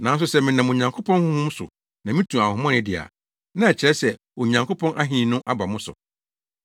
Nanso sɛ menam Onyankopɔn Honhom so na mitu honhommɔne de a, na ɛkyerɛ sɛ Onyankopɔn Ahenni no aba mo so.